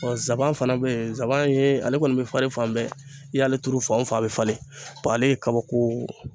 saban fana bɛ yen, sabanan ye ale kɔni bɛ falen fan bɛɛ i y'ale turu fan o fan a bɛ falen ale ye kabako